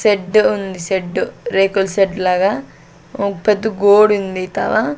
సెడ్డు ఉంది సెడ్డు రేకుల సెడ్డు లాగా పెద్ద గోడుంది తలా --